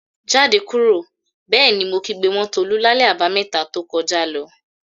"Jáde kúrò!" Bẹ́ẹ̀ ni mo kígbe mọ́ Tolú lálẹ́ Àbàmẹ́ta to kọjá lọ.